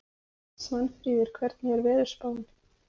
Svanfríður, hvernig er veðurspáin?